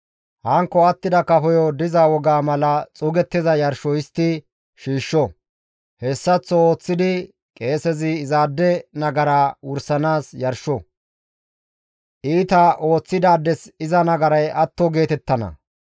Hankko attida kafoyo diza wogaa mala xuugettiza yarsho histti shiishsho; hessaththo ooththidi qeesezi izaade nagaraa wursanaas yarsho; iita ooththidaades iza nagaray atto geetettana.